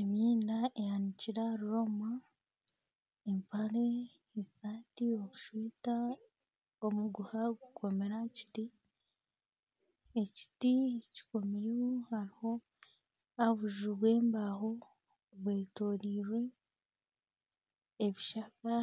Emyenda eyanikire aha rwoma, empare, eshaati, obushuuka, omuguha gukomire aha kiti. Ekiti kokomirwe hariho obuju bw'embaaho bwetoroirwe ebishaka